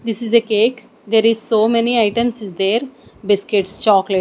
this is a cake there is so many items is there biscuits chocolate --